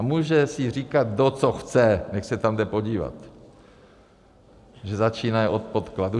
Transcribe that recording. A může si říkat kdo co chce, nechť se tam jde podívat, že začínají od podkladu.